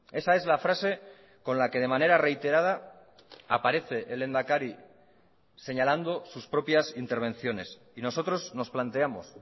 esa es la frase con la que de manera reiterada aparece el lehendakari señalando sus propias intervenciones y nosotros nos planteamos